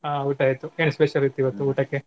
ಹಾ ಊಟ ಆಯ್ತು ಏನ್ special ಇತ್ತು ಇವತ್ತು ಊಟಕ್ಕೆ?